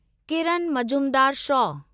Kiran Mazumdar show